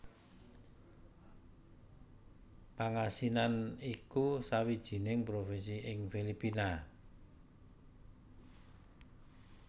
Pangasinan iku sawijining provinsi ing Filipina